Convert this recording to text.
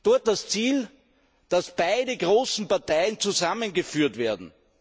Dort das Ziel, dass beide großen Parteien zusammengeführt werden.